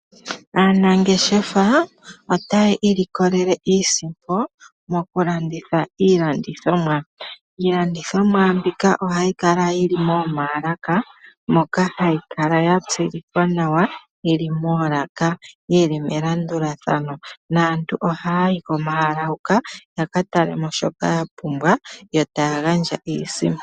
Aanangeshefa otayi ilikolele iisimpo moku landitha iilandithomwa. Iilandithomwa mbika ohayi kala yili momaalaka moka hayi kala ya tsilikwa nawa, yili moolaka, yili melandulathano naantu ohaya yi komaalaka huka yaka tale mo shoka ya pumbwa, yo taya gandja iisimpo.